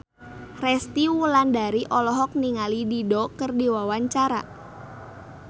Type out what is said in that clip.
Resty Wulandari olohok ningali Dido keur diwawancara